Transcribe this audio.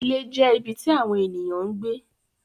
Ilé jẹ́ ibi tí àwọn ènìyàn ń gbé.